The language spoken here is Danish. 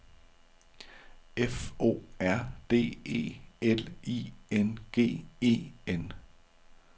F O R D E L I N G E N